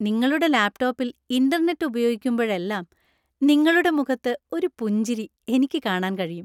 നിങ്ങളുടെ ലാപ്ടോപ്പിൽ ഇന്‍റർനെറ്റ് ഉപയോഗിക്കുമ്പോഴെല്ലാം നിങ്ങളുടെ മുഖത്ത് ഒരു പുഞ്ചിരി എനിക്ക് കാണാൻ കഴിയും.